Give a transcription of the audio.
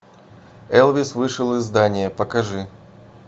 элвис вышел из здания покажи